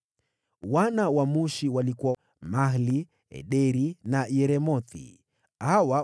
Wana wa Mushi: Mahli, Ederi na Yeremothi; wote walikuwa watatu.